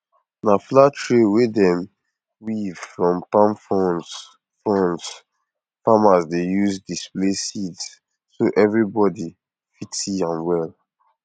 na flat tray wey dem weave from palm fronds fronds farmers dey use display seeds so everybody fit see am well